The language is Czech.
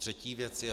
Třetí věc je.